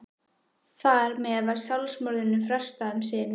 Þar með var sjálfsmorðinu frestað um sinn.